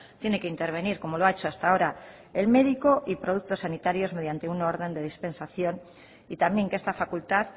tiene que intervenir como lo ha hecho hasta ahora el médico y productos sanitarios mediante una orden de dispensación y también que esta facultad